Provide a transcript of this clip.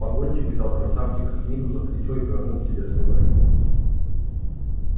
погонщик взял красавчика смита за плечо и повернул к себе спиной